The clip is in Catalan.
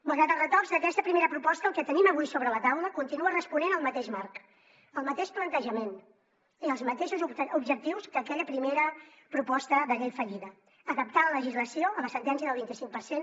malgrat els retocs d’aquesta primera proposta el que tenim avui sobre la taula continua responent al mateix marc al mateix plantejament i als mateixos objectius que aquella primera proposta de llei fallida adaptar la legislació a la sentència del vint i cinc per cent